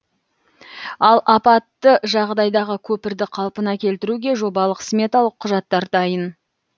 ал апатты жағдайдағы көпірді қалпына келтіруге жобалық сметалық құжаттар дайын